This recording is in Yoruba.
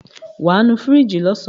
Wàá nu fíríjì lọ́sàn.